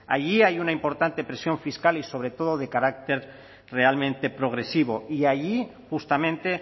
allí hay una importante presión fiscal y sobre todo de carácter realmente progresivo y allí justamente